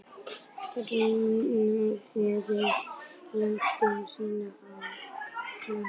Ræningjarnir lögðu síðan á flótta